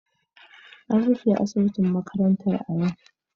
An rufe asibitin makarantar a yau